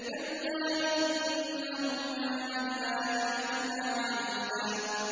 كَلَّا ۖ إِنَّهُ كَانَ لِآيَاتِنَا عَنِيدًا